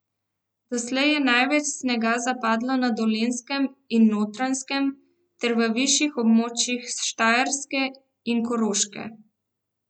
Doslej je največ snega zapadlo na Dolenjskem in Notranjskem ter v višjih območjih Štajerske in Koroške.